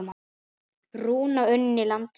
Rúna unni landi sínu.